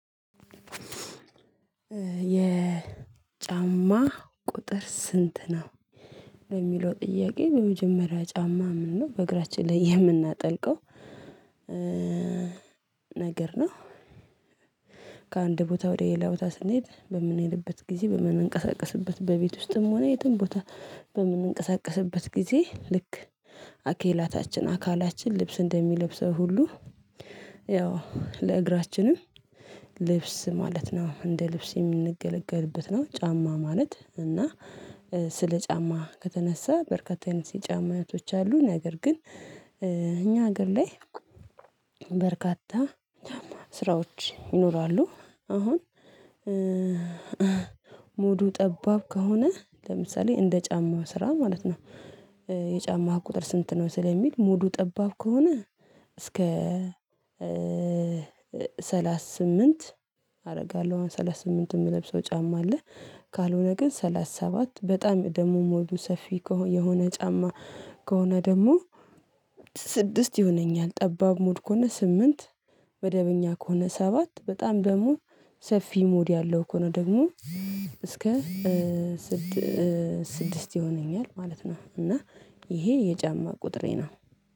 የጫማ ቁጥር ስንት ነው? በሚለው ጥያቄ በመጀመሪያ ጫማ ምን ነው በእግራችን ላይ የምናጠልቀው? ነገር ነው ከአንድ ቦታ ወደ ሌላ ቦታ ስንሄድ በምንሄድበት ጊዜ በምንንቀሳቀስበት በቤት ውስጥም ሆነ የትም ቦታ በምንንቀሳቀስበት ጊዜ ልክ አኬላታችን አካላችን ልብስ እንደሚለብሰው ሁሉ ያው ለእግራችንም ልብስ ማለት ነው እንደ ልብስ የምንገለገልበት ነው። ጫማ ማለት እና ስለ ጫማ ከተነሳ በርካታ አይነት የጫማ አይነቶች አሉ። ነገር ግን እኛ ሀገር ላይ በርካታ ስራዎች ይኖራሉ። አሁን ሞዱ ጠባብ ከሆነ ለምሳሌ እንደ ጫማው ስራ ማለት ነው። የጫማው ቁጥር ስንት ነው ስለሚል ሙዱ ጠባብ ከሆነ እስከ ሰላሳ ስምንት አረጋለሁ ሰላሳ ስምንት የምለብሰው ጫማ አለ። ካልሆነ ግን ሰላሳ ሰባት በጣም ደሞ ሞዱ ሰፊ የሆነ ጫማ ከሆነ ደግሞ ስድስት ይሆነኛል ጠባብ ሞድ ከሆነ ስምንት መደበኛ ከሆነ ሰባት በጣም ደግሞ ሰፊ ሞድ ያለው ከሆነ ደግሞ እስከ ስድስት ይሆነኛል ማለት ነው። እና ይሄ የጫማ ቁጥሬ ነው።